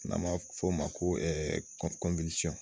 N'a m'a fɔ o ma ko